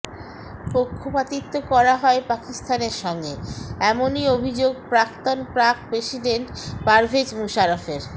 পক্ষপাতিত্ব করা হয় পাকিস্তানের সঙ্গে এমনই অভিযোগ প্রাক্তন পাক প্রেসিডেন্ট পারভেজ মুশারফের